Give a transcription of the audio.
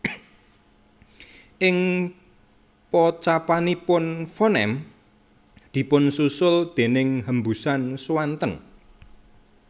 Ing pocapanipun fonem dipunsusul déning hembusan swanten